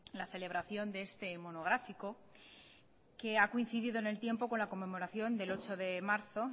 la celebración de este monográfico que ha coincidido en el tiempo con la conmemoración del ocho de marzo